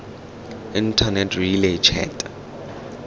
internet relay chat